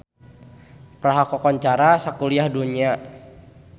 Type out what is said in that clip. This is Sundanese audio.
Praha kakoncara sakuliah dunya